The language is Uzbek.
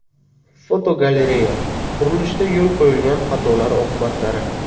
Fotogalereya: Qurilishda yo‘l qo‘yilgan xatolar oqibatlari.